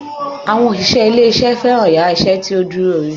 Àwọn òṣìṣẹ́ ilé isé fẹ́ràn yàrá isé tí ó dúró re